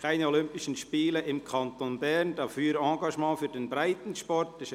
«Keine Olympischen Spiele im Kanton Bern, dafür Engagement für den Breitensport».